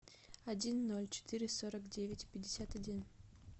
один ноль четыре сорок девять пятьдесят один